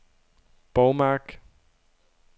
Borgmark